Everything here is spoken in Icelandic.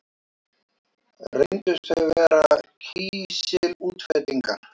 Reyndust þau vera kísilútfellingar.